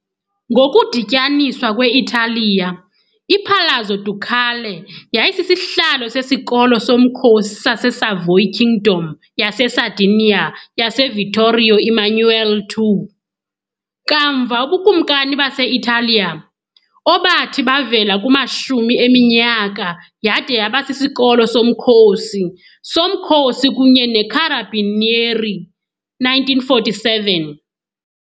Ngokudityaniswa kwe-Italiya, iPalazzo Ducale yayisisihlalo sesikolo somkhosi saseSavoy Kingdom yaseSardinia yaseVittorio Emanuele II, kamva uBukumkani base-Italiya, obathi bavela kumashumi eminyaka yade yaba siSikolo soMkhosi soMkhosi kunye neCarabinieri e. 1947.